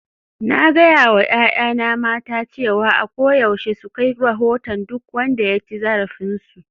Na gaya wa 'ya'yana mata cewa a koyaushe su kai rahoton duk wanda ya ci zarafinsu